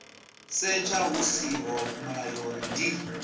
setsha hu siho mulayoni ndi